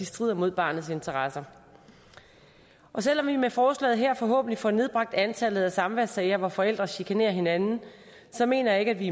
strider imod barnets interesser selv om vi med forslaget her forhåbentlig får nedbragt antallet af samværssager hvor forældre chikanerer hinanden så mener jeg ikke vi